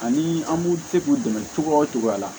Ani an b'u se k'u dɛmɛ cogoya o cogoya la